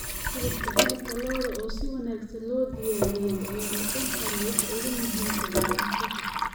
Hilibka hilibka lo'da oo si wanaagsan loo diyaariyey ayaa noqon kara waxa ugu muhiimsan ee cunto kasta.